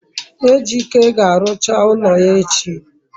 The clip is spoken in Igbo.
ejike ga-arucha ulo ya echi